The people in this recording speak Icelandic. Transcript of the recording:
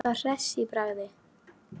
Hann sem er alltaf hress í bragði.